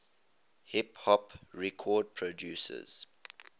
hip hop record producers